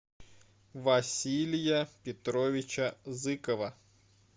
василия петровича зыкова